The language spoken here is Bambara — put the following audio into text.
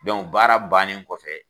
Dɔnku baara bannen kɔfɛ